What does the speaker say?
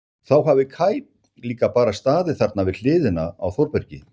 Þá hafi Kaj líka bara staðið þarna við hliðina á Þórbergi.